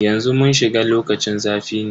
Yanzu mun shiga lokacin zafi ne.